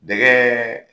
Dɛgɛ